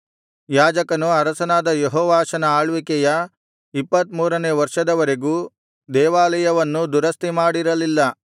ಯಾಜಕರು ಅರಸನಾದ ಯೆಹೋವಾಷನ ಆಳ್ವಿಕೆಯ ಇಪ್ಪತ್ತಮೂರನೆ ವರ್ಷದವರೆಗೂ ದೇವಾಲಯವನ್ನು ದುರಸ್ತಿ ಮಾಡಿರಲಿಲ್ಲ